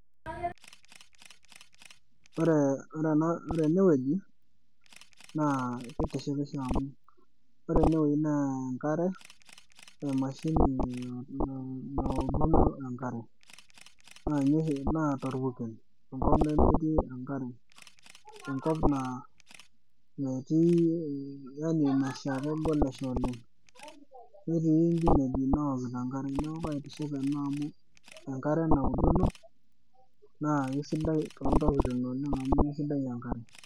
ore enewoji naa kitishipisho amuu ore enewojinaa enkare CS[machine]CS naa topurkel enkop nemetii enkare, enkop naa kegol oshi ole'ng netii inkinejik naokito enkare neeku kaaitiship ena amu enkare naoki ena naa kesidai toontoking oleng amu kesidai enkare.